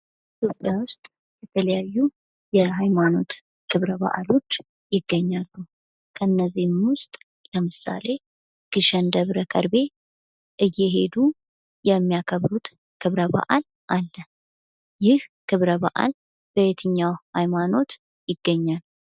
ኢትዮጵያ ውስጥ የተለያዩ የሃይማኖት ክብረ በአሎች ይገኛሉ። ከነዚህም ውስጥ ለምሳሌ ግሸን ደብረ ከርቤ እየሄዱ የሚያከብሩት ክብረ በአል አለ። ይህ ክብረ በአል በየትኛው ሃይማኖት ይገኛል?